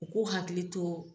U k'u hakili to